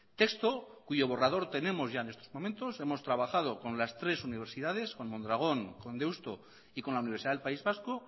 texto cuyo borrador tenemos ya en estos momentos hemos trabajado con las tres universidades con mondragón con deusto y con la universidad del país vasco